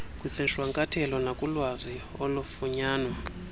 kwisishwankathelo nakulwazi olufunyanwa